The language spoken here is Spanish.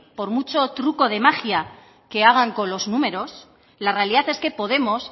por mucho truco de magia que hagan con los números la realidad es que podemos